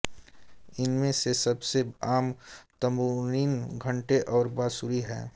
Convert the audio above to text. इनमें से सबसे आम तम्बूरीन घंटे और बांसुरी हैं